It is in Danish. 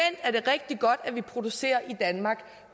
er det rigtig godt at vi producerer i danmark